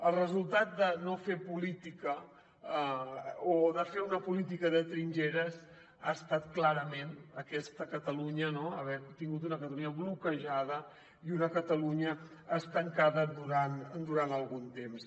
el resultat de no fer política o de fer una política de trinxeres ha estat clarament aquesta catalunya no haver tingut una catalunya bloquejada i una catalunya estancada durant algun temps